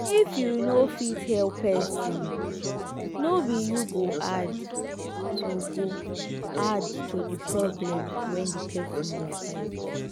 if you no fit help person no be you go add to go add to di problem wey di person dey fight